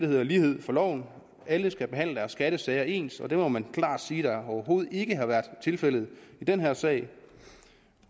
hedder lighed for loven alle skattesager ens det må man klart siger overhovedet ikke har været tilfældet i den her sag